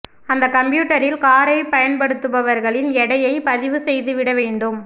அந்த கம்ப்யூட்டரில் காரை பயன்படுத்துபவர்களின் எடையை பதிவு செய்துவிட வேண்டும்